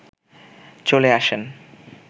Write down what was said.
চলে আসেন